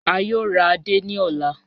A yòò rà àdé ní ọlá.